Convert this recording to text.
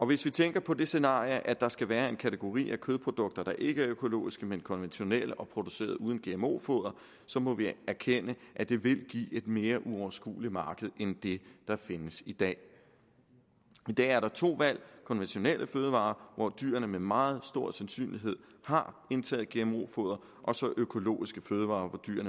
vi tænker på det scenario at der skal være en kategori af kødprodukter der ikke er økologiske men konventionelle og produceret uden gmo foder må vi erkende at det vil give et mere uoverskueligt marked end det der findes i dag i dag er der to valg konventionelle fødevarer hvor dyrene med meget stor sandsynlighed har indtaget gmo foder og økologiske fødevarer